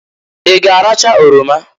I g'aracha oroma?